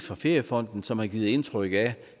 fra feriefonden som har givet indtryk af